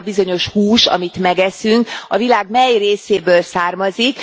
Hogy az a bizonyos hús, amit megeszünk, a világ mely részéből származik.